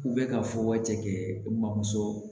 U bɛ ka fɔ waati kɛ bamuso